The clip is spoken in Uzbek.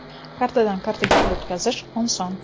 Kartadan kartaga pul o‘tkazish oson!